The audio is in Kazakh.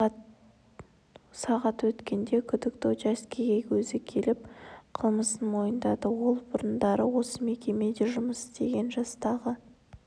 сағат өткенде күдікті учаскеге өзі келіп қылмысын мойындады ол бұрындары осы мекемеде жұмыс істеген жастағы